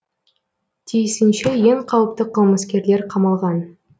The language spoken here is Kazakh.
тиісінше ең қауіпті қылмыскерлер қамалған